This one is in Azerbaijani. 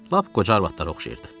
Lap qoca arvadlara oxşayırdı.